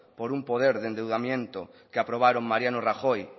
poder de endeudamiento que aprobaron mariano rajoy